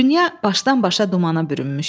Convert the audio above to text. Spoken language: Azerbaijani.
Dünya başdan-başa dumana bürünmüşdü.